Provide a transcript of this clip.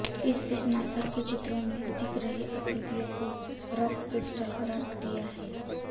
इस बीच नासा ने चित्रों में दिख रही आकृतियों को रॉक क्रिस्टल करार दिया है